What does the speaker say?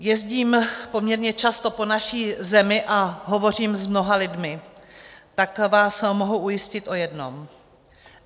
Jezdím poměrně často po naší zemi a hovořím s mnoha lidmi, tak vás mohu ujistit o jednom.